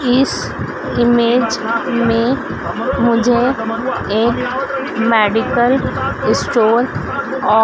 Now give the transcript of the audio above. इस इमेज में मुझे एक मेडिकल स्टोर और--